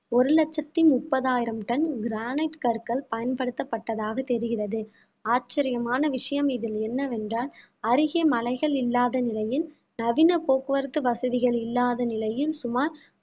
ஒரு லட்சத்தி முப்பதாயிரம் டன் கிரானைட் கற்கள் பயன்படுத்தப்பட்டதாக தெரிகிறது ஆச்சரியமான விஷயம் இதில் என்னவென்றால் அருகே மலைகள் இல்லாத நிலையில் நவீன போக்குவரத்து வசதிகள் இல்லாத நிலையில் சுமார்